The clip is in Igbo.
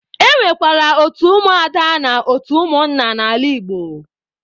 E nwekwara otu ụmụ ada na otu ụmụnna n'ala Igbo.